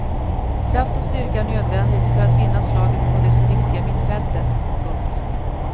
Kraft och styrka är nödvändigt för att vinna slaget på det så viktiga mittfältet. punkt